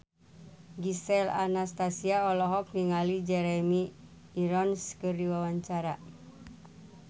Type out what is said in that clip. Gisel Anastasia olohok ningali Jeremy Irons keur diwawancara